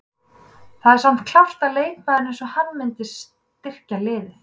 Það er samt klárt að leikmaður eins og hann myndi styrkja liðið.